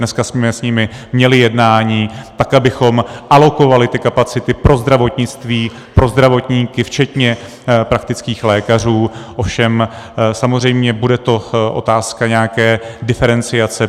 Dneska jsme s nimi měli jednání, tak abychom alokovali ty kapacity pro zdravotnictví, pro zdravotníky včetně praktických lékařů, ovšem samozřejmě bude to otázka nějaké diferenciace.